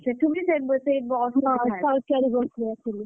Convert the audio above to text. ସେଠୁବି ସେ ସେଇ ବସରେ,